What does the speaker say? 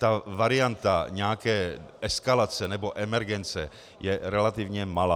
Ta varianta nějaké eskalace nebo emergence je relativně malá.